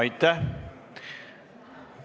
Aitäh!